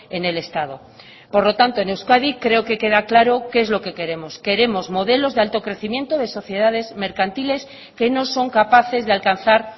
en el estado por lo tanto en euskadi creo que queda claro qué es lo que queremos queremos modelos de alto crecimiento de sociedades mercantiles que no son capaces de alcanzar